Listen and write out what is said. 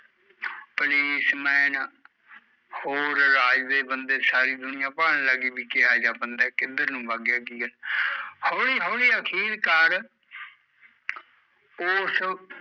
police man ਹੋਰ ਰਾਜ ਦੇ ਬੰਦੇ ਸਾਰੀ ਦੁਨੀਆ ਭਾਲਣ ਲੱਗ ਗਈ, ਕਿਹਾ ਜਿਹਾ ਬੰਦਾ ਐ, ਕਿੱਧਰ ਨੂੰ ਬਗ ਗਿਆ ਕੀ ਐ ਹੋਲੀ ਹੋਲੀ ਅਖੀਰਕਾਰ ਓਸ